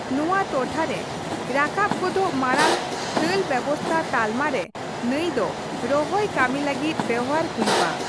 ᱱᱚᱣᱟ ᱴᱚᱴᱷᱟ ᱨᱮ ᱨᱟᱠᱟᱵ ᱜᱚᱫᱚᱜ ᱢᱟᱲᱟᱝ ᱠᱷᱟᱞ ᱵᱮᱵᱥᱛᱷᱟ ᱛᱟᱞᱢᱟ ᱨᱮ ᱱᱟᱹᱭ ᱫᱚ ᱨᱚᱦᱚᱭ ᱠᱟᱹᱢᱤ ᱞᱟᱹᱜᱤᱫ ᱵᱮᱦᱟᱨ ᱦᱚᱭᱩᱜ ᱟ ᱾